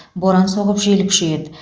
боран соғып жел күшейеді